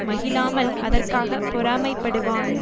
மகிழாமல் அதற்காகப் பொறாமைப்படுவான்